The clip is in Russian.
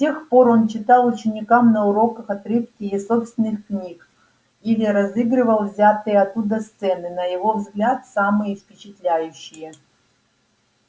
с тех пор он читал ученикам на уроках отрывки из собственных книг или разыгрывал взятые оттуда сцены на его взгляд самые впечатляющие